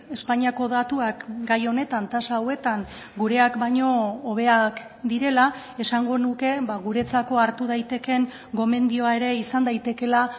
espainiako datuak gai honetan tasa hauetan gureak baino hobeak direla esango nuke guretzako hartu daitekeen gomendioa ere izan daitekeela